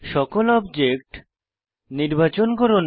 সকল অবজেক্ট নির্বাচন করুন